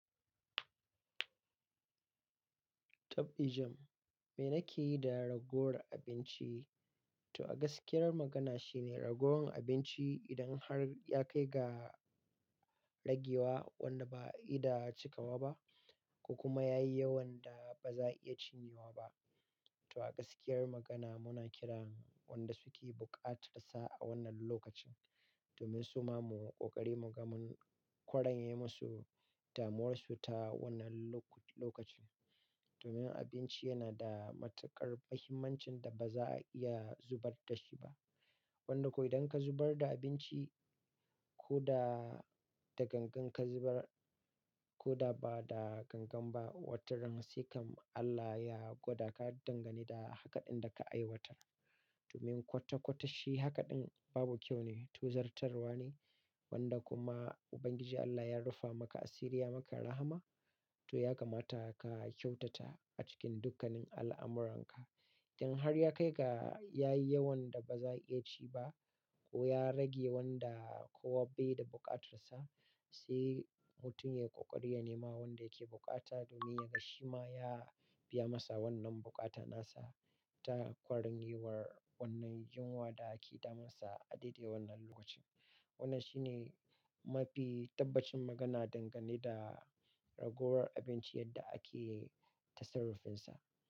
Taf dijam, me nike yi da ragowar abinci? To gaskiyar magana shi ne ragowan abinci idan har ya kai ga ragewa wanda ba a iya da cikawa ba ko kuma yayi yawan da ba za a iya cinyewa ba. To a gaskiyar magana muna kiran wanda suke buƙatar sa a wannan lokacin domin su ma muyi ƙoƙari mu kwaranye musu damuwarsu ta wannan lokacin. Domin abinci yana da matuƙar muhimmancin da ba za a iya zubar da shi ba. Wanda ko idan ka zubar da abinci ko da da gangan ka zubar ko da ba da gangan ba, wataran sai kam Allah ya gwada ka dangane da hakaɗin da ka aiwatar. Domin kwata-kwata shi hakaɗin babu kyau ne, tozartarwa ne wanda kuma Ubangiji Allah ya rufe maka asiri ya maka rahama to ya kamata ka kyautata a cikin dukkanin al'amuranka. Idan har ya kai ga yayi yawan da ba za a iya ci ba ko ya rage wanda kuwa bai da buƙatar sa, sai mutum ya yi ƙoƙari ya nema wanda yake buƙata domin ya ga shi ma ya biya masa wannan buƙata nasa ta kwaranyewar wannan yunwa da ke damunsa a daidai wannan lokacin. Wannan shi ne mafi tabbacin magana dangane da ragowar abinci yadda ake ta sarrafinsa.